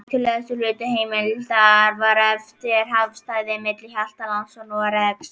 Hættulegasti hluti heimleiðarinnar var eftir, hafsvæðið milli Hjaltlands og Noregs.